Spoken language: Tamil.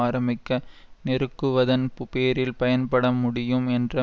ஆரம்பிக்க நெருக்குவதன் பேரில் பயன்பட முடியும் என்ற